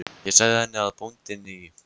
Ég sagði henni að bóndinn í